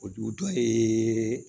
O dugu dɔ ye